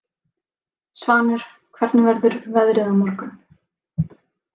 Svanur, hvernig verður veðrið á morgun?